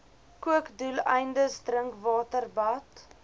kookdoeleindes drinkwater bad